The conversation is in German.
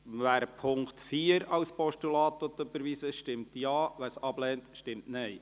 Wer den Punkt 4 als Postulat überweisen will, stimmt Ja, wer dies ablehnt, stimmt Nein.